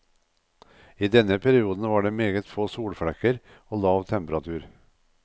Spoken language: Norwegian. I denne perioden var det meget få solflekker og lav temperatur.